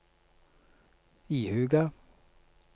ihuga